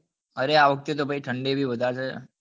અરે આ વખતે તો ઠંડી બી વધારે છે